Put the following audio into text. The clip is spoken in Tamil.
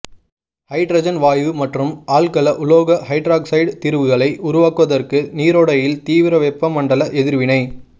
ஹைட்ரஜன் வாயு மற்றும் ஆல்கல உலோக ஹைட்ராக்சைடு தீர்வுகளை உருவாக்குவதற்கு நீரோடையில் தீவிர வெப்பமண்டல எதிர்வினை